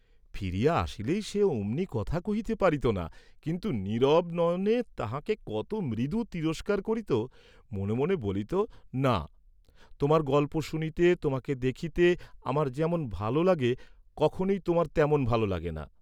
ফিরিয়া আসিলেই সে অমনি কথা কহিতে পারিত না কিন্তু নীরব নয়নে তাঁহাকে কত মৃদু তিরস্কার করিত, মনে মনে বলিত না, তোমার গল্প শুনিতে তোমাকে দেখিতে আমার যেমন ভাল লাগে কখনই তোমার তেমন ভাল লাগে না।